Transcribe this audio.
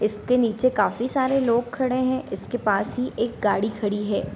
इसके नीचे काफी सारे लोग खड़े हैं इसके पास ही एक गाड़ी खड़ी है।